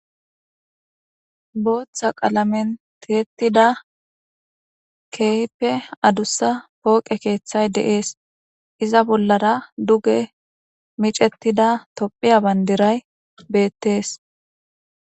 Botha qalamen tiyetida kehipe adusa poqe kethay de'es iza bolara duge mic'etida tophiya bandiray betes.